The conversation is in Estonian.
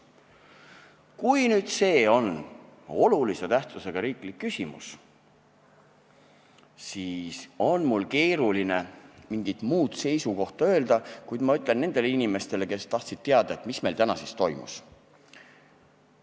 Kui see nüüd on olulise tähtsusega riiklik küsimus, siis on mul keeruline mingit muud seisukohta öelda, kuid ma räägin nendele inimestele, kes tahtsid teada, mis meil täna siin toimus.